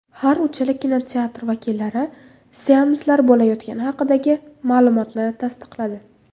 Har uchala kinoteatr vakillari seanslar bo‘layotgani haqidagi ma’lumotni tasdiqladi.